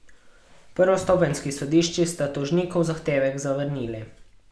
Prvostopenjski sodišči sta tožnikov zahtevek zavrnili.